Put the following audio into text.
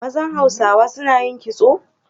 Mazan Hausawa suna yin kitso?